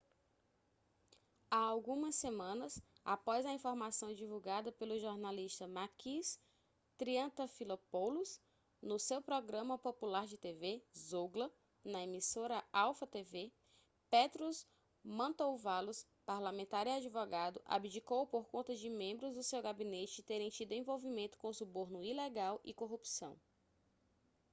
há algumas semanas após a informação divulgada pelo jornalista makis triantafylopoulos no seu programa popular de tv zougla na emissora alpha tv petros mantouvalos parlamentar e advogado abdicou por conta de membros do seu gabinete terem tido envolvimento com suborno ilegal e corrupção